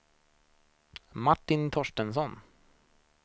Martin Torstensson